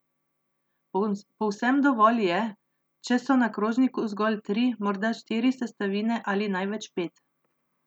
Povsem dovolj je, če so na krožniku zgolj tri, morda štiri sestavine ali največ pet.